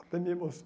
Até me